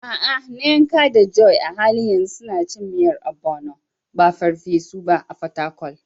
A'a, Nneka da Joy a halin yanzu suna cin miyar Ogbono, ba farfesu ba, a Fatakwal.